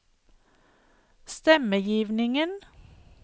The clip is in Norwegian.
stemmegivningen